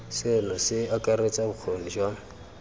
seno se akaretsa bokgoni jwa